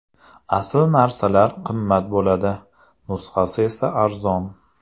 Asl narsalar qimmat bo‘ladi, nusxasi esa arzon.